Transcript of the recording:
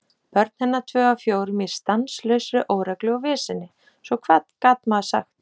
Börn hennar tvö af fjórum í stanslausri óreglu og veseni, svo hvað gat maður sagt?